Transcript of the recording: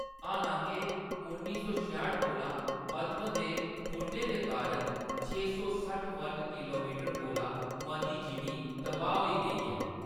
हालांके, उन्नी सौ छेआट कोला पद्‌म दे खुरने दे कारण छे सौ सट्ठ वर्ग किलोमीटर कोला मती जिमीं तबाह्‌‌ होई गेई ऐ।